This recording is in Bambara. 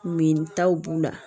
Min taw b'u la